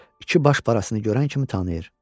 İki baş parçasını görən kimi tanıyır.